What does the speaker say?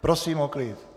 Prosím o klid.